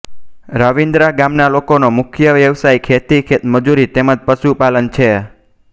રાવિન્દ્રા ગામના લોકોનો મુખ્ય વ્યવસાય ખેતી ખેતમજૂરી તેમ જ પશુપાલન છે